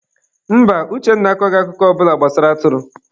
Mba, Uchenna akọghị akụkọ ọ bụla gbasara atụrụ.